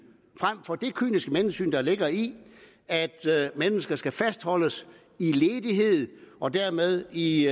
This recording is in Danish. frem for det kyniske menneskesyn der ligger i at mennesker skal fastholdes i ledighed og dermed i